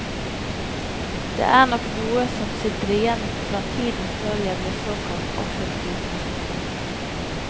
Det er nok noe som sitter igjen fra tiden før jeg ble såkalt offentlig person.